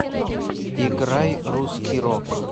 играй русский рок